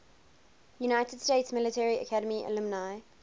united states military academy alumni